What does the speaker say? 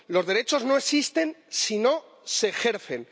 Los derechos no existen si no se ejercen.